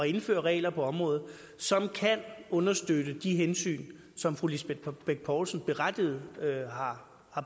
indføre regler på området som kan understøtte de hensyn som fru lisbeth bech poulsen berettiget har